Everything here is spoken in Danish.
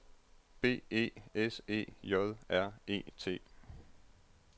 B E S E J R E T